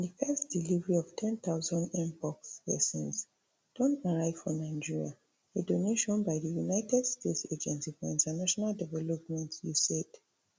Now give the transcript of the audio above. di first delivery of ten thousand mpox vaccines don arrive for nigeria a donation by di united states agency for international development usaid